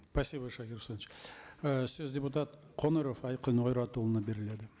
спасибо шакир э сөз депутат қоңыров айқын ойратұлына беріледі